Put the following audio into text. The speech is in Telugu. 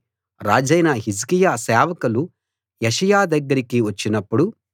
రాజైన హిజ్కియా సేవకులు యెషయా దగ్గరికి వచ్చినప్పుడు